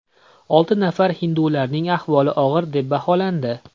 Olti nafar hindularning ahvoli og‘ir deb baholandi.